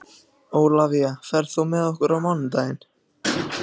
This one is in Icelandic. Ólafía, ferð þú með okkur á mánudaginn?